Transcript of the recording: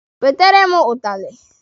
Wetere m ụtalị!